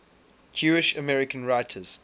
jewish american writers